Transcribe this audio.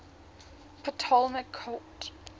ptolemaic court